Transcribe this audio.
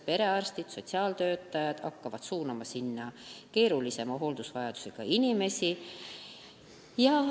Perearstid ja sotsiaaltöötajad hakkavad suunama nende juurde keerulisema hooldusvajadusega inimesi.